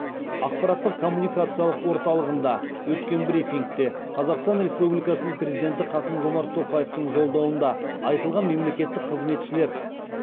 ақпараттық коммуникациялық орталығында өткен брифингте қазақстан республикасының президенті қасым жомарт тоқаевтың жолдауында айтылған мемлекеттік қызметшілер